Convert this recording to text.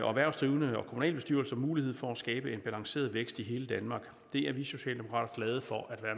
og erhvervsdrivende og kommunalbestyrelser mulighed for at skabe en balanceret vækst i hele danmark det er vi socialdemokrater glade for at være